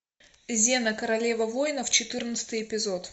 зена королева воинов четырнадцатый эпизод